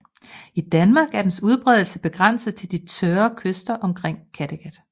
I Danmark er dens udbredelse begrænset til de tørre kyster omkring Kattegat